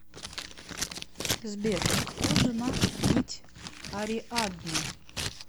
сбер кто жена нить ариадны